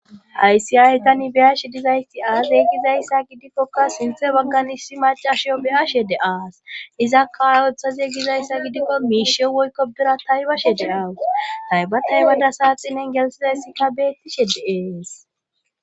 aysi aytan ibiyashe dizaysti aazey gizayssa gidikkokka sinthe wagganis shi macashiyo beyashede aas izakkao oththaziye gizayssa gidikko miishe woykko bira taybashe de awas taybatay bada saaxinen gelsizayssikka beettishe de7ees